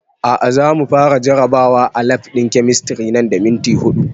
A'a za mu fara jarabawa a lab ɗin kemistri nan da minti huɗu